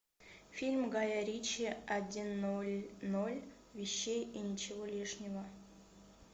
фильм гая ричи один ноль ноль вещей и ничего лишнего